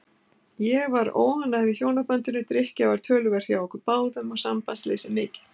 Ég var óánægð í hjónabandinu, drykkja var töluverð hjá okkur báðum og sambandsleysið mikið.